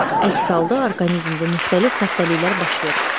Əks halda orqanizmdə müxtəlif xəstəliklər baş verər.